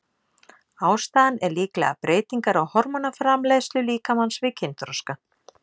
Ástæðan er líklega breytingar á hormónaframleiðslu líkamans við kynþroska.